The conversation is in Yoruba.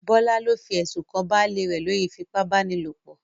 Bọ́lá ló fi ẹ̀sùn kan baálé rẹ̀ lórí ìfipá-báni-lòpọ̀